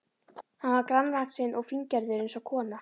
Hann var grannvaxinn og fíngerður eins og kona.